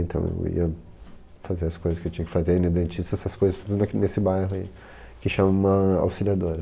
Então, eu ia fazer as coisas que eu tinha que fazer, ir no dentista, essas coisas tudo naq, nesse bairro aí, que chama Auxiliadora.